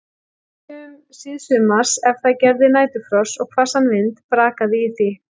Stundum síðsumars, ef það gerði næturfrost og hvassan vind, brakaði í því.